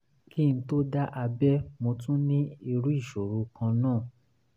kí n tó dá abẹ́ mo tún ní irú ìṣòro kan náà